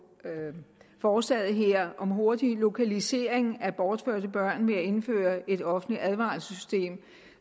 forslaget her om hurtig lokalisering af bortførte børn ved at indføre et offentligt advarselssystem